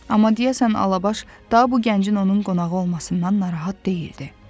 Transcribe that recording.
Amma deyəsən Alabaş daha bu gəncin onun qonağı olmasından narahat deyildi.